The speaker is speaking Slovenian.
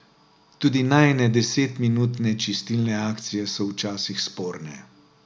Tudi najine desetminutne čistilne akcije so včasih sporne.